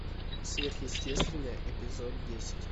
сверхъестественное эпизод десять